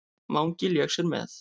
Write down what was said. Mangi lék sér með.